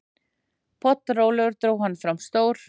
Pollrólegur dró hann fram stór